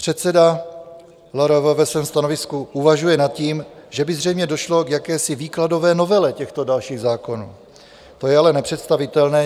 Předseda LRV ve svém stanovisku uvažuje nad tím, že by zřejmě došlo k jakési výkladové novele těchto dalších zákonů, o je ale nepředstavitelné.